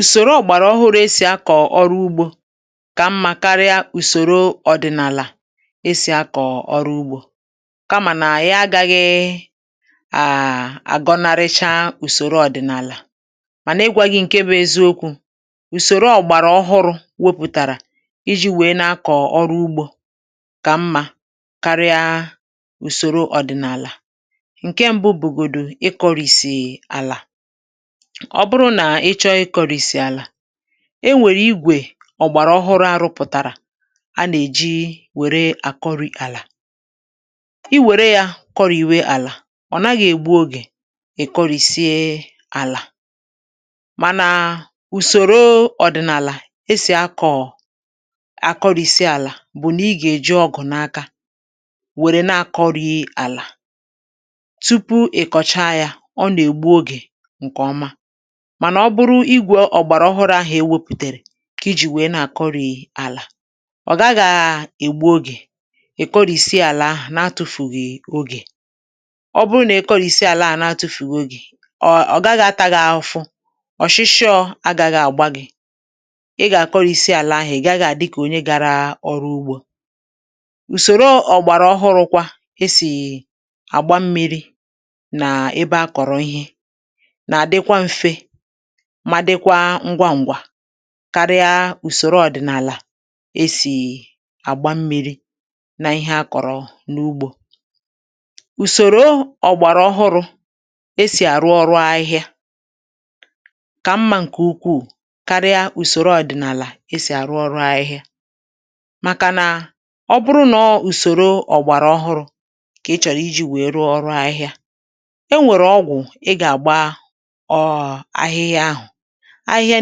ùsòro ògbàrà ọhụ̄rụ̄ e sì akọ̀ ọrụ ugbō kà mmā karịa usoro ọ̀dị̀nàlà e sì akọ̀ ọrụ ugbō kamà nà ạyị agāghị̄ àà àgọnarịcha ùsòro ọdị̀nàlà mànà ịgwā gị̄ ṅ̀ke bụ̄ eziokwū ùsòro ọ̀̀gbàrà ọhụrụ̄ wepùtàrà ijī wèe na-akọ̀ ọrụ ugbō kà mmā karịa ùsòro ọ̀dị̀nàlà ṅ̀ke mbụ̄ bụ̀gòdù ịkọ̄rìsì àlà ọ bụrụ nà ị chọọ ịkọ̄rìsì àlà e nwèè igwè ọ̀gbàrà ọhụrụ̄ a rụ̄pụ̀tàrà a nà-èji wère àkọrị̄ àlà i wère yā kọrìwe àlà ọ nàghị̄ ègbu ogè ị̀ kọrìsie àlà mànàà usoro ọdị̀nàlà e sì akọ̀ àkọrìsi àlà bụ̀ nà ị gà-èji ọgụ̀ n’aka wère na-akọ̄rī àlà tupu ị̀ kọ̀chaa yā ọ nà-ègbu ogè ṅ̀kè ọma mànà ọ bụrụ igwē ọ̀gbàrà ọhụrụ̄ ahụ̀ e wēpùtèrè kà i jì wèe na-àkọrì àlà ọ gàghā ègbu ogè ì kọrìsie àlà ahụ̀ na-atụ̄fùghì ogè ọ bụrụ nà i kọrìsie àla à na-atụ̄fùghì ogè ọ gaghị̄ ata gị̄ afụfụ ọ̀shịshịọ̄ agāghị̄ àgba gị̄ ị gà-àkọrìsi àlà ahụ̀ ị̀ gaghị̄ àdị kà onye gārā ọrụ ugbō ùsòro ọ̀gbàrà ọhụrụ̄ kwā e sì àgba mmīrī nàà ebe a kọ̀rọ ihe nà-àdịkwa mfe ma dịkwa ṅgwa ṅ̀gwà karịa ùsòro ọ̀dị̀nàlà̀ e sì àgba mmīrī na ihe a kọ̀rọ n’ugbō ùsòro ọ̀gbàrà ọhụrụ̄ e sì àrụ ọrụ ahịhịa kà mmā ṅ̀kè ukwuù karịa ùsòro ọ̀dị̀nàlà e sì àrụ ọrụ ahịhịa màkà nà ọ bụrụ nà ọọ̄ ùsòro ọ̀gbàrà ọhụrụ̄ kà i̩ chọ̀rọ̀ ijī wèe rụọ ọrụ ahịhịa e nwèrè ọgwụ̀ ị gà-àgba ọ̀ọ̀ ahịhịa ahụ̀ ahịhịa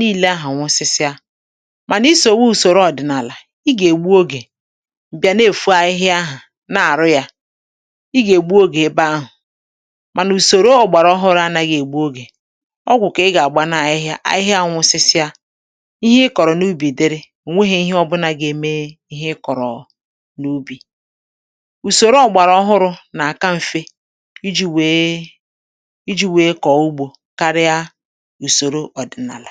niilē ahụ̀ nwụsịsịa mànà i sòwe ùsòro ọ̀dị̀nàlà ị gà-ègbu ogè bịa na-èfo ahịhịa ahà na-àrụ yā ị gà-ègbu ogè ebe ahụ̀ mànà ùsòro ògbàrà ọhụrụ̄ anāghị̄ ègbu ogè ọgwụ̀ kà ị gà-àgba n’ahịhịa ahịhịa nwụ̄sị̄sị̄a ihe i kọ̀rọ̀ n’ubì dịrị ò nwehē ihe ọbụ̄nà gà-eme ihe ị kọ̀rọ̀ n’ubì ùsòro ọ̀gbàrà ọhụrụ̄ nà-àka mfe ijī wèe ijī wèe kọ̀ọ ugbō karịa ùsòro ọ̀dị̀nàlà